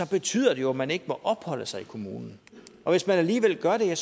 betyder det jo at man ikke må opholde sig i kommunen og hvis man alligevel gør det har